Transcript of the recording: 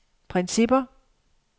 principper